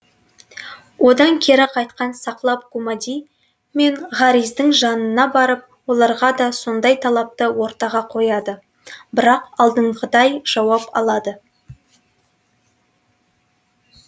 одан кері қайтқан сақлап гумади мен хариздің жанына барып оларға да сондай талапты ортаға қояды бірақ алдыңғыдай жауап алады